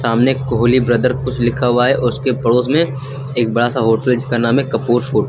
आमने कोहली ब्रदर कुछ लिखा हुआ है और उसके पड़ोस में एक बड़ा सा होटल है जिसका नाम है कपूर्स होटल ।